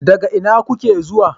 Daga ina kuke zuwa?